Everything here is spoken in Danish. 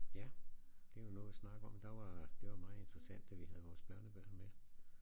Ja det er jo noget at snakke om der var det var meget interessant da vi havde vores børnebørn med